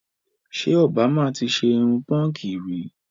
Ṣé òbámà ti ṣe irun púnkì rí?